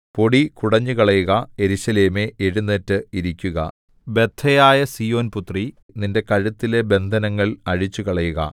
പൊടി കുടഞ്ഞുകളയുക യെരൂശലേമേ എഴുന്നേറ്റ് ഇരിക്കുക ബദ്ധയായ സീയോൻ പുത്രീ നിന്റെ കഴുത്തിലെ ബന്ധനങ്ങൾ അഴിച്ചുകളയുക